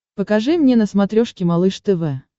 покажи мне на смотрешке малыш тв